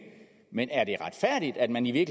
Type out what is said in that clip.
men er det retfærdigt at man i